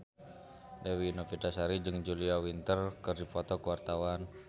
Dewi Novitasari jeung Julia Winter keur dipoto ku wartawan